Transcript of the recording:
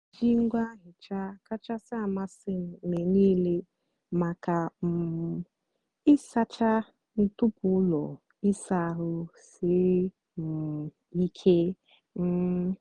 m na-èjì ngwá nhịcha kachásị́ àmasị́ m mgbe nílé maka um ị́sàcha ntụpọ́ ụ́lọ́ ị́sa àhụ́ sírí um ìké. um